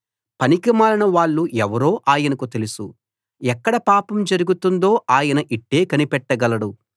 పనికిమాలిన వాళ్ళు ఎవరో ఆయనకు తెలుసు ఎక్కడ పాపం జరుగుతుందో ఆయన ఇట్టే కనిపెట్టగలడు